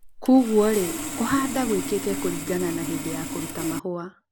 kũguo rĩ kũhamda gũĩkĩke kũrigana na hĩndĩ ya kũruta mahũa